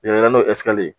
n'o